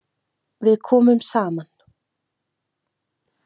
Við komum saman.